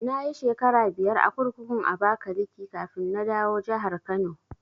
Nayi shekara biyar a kurkukun Abakaliki kafin na dawo jahar Kano